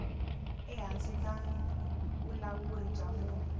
ehansi ka vulawuri bya munhu